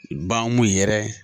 Bahumu yɛrɛ